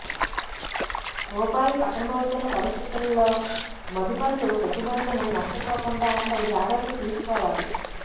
రూపాయి పతనమవుతున్న పరిస్థితులలో మదుపర్లు పెట్టుబడులను నష్టపోకుండా తగు జాగ్రత్తలు తీసుకోవాలి